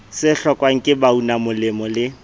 se hlokwang ke baunamolemo le